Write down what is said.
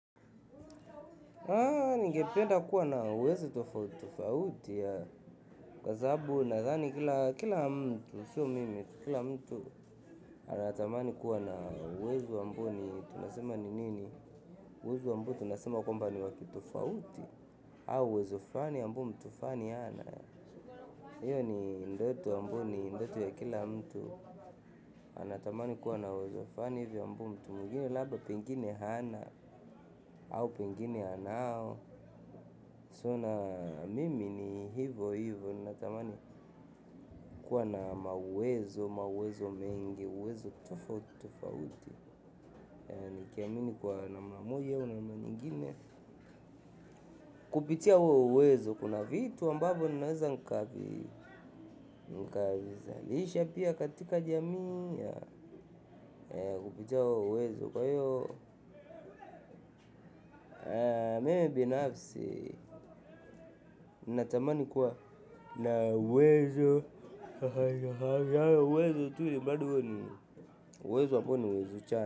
Haaa, ningependa kuwa na uwezo tofauti tofauti ya, kwa sababu nadhani kila mtu, sio mimi, kila mtu anatamani kuwa na uwezo ambao ni tunasema ni nini, uwezo ambao ni tunasema kwamba ni wakitofauti, au uwezo fani ambao mtu fani hana, iyo ni ndoto ambayo ni ndoto ya kila mtu anatamani kuwa na uwezo fani hivi ambao mtu mwingine labda pengine hana, au pengine anao, so na mimi ni hivo hivo, ninatamani kuwa na mauwezo, mauwezo mengi, uwezo tofauti tofauti nikiamini kuwa namna moja au namna nyingine kupitia uwezo. Kuna vitu ambavo ninaweza nikavi nikavizalisha pia katika jamii, kupitia uwezo. Kwa hiyo, mimi binafsi, ninatamani kuwa na uwezo, uwezo tuli bado huwa ni uwezo ambao ni uwezo chache.